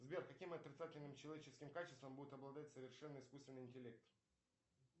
сбер каким отрицательным человеческим качеством будет обладать совершенно искусственный интеллект